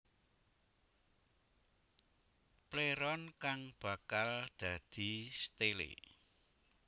Pléron kang bakal dadi stélé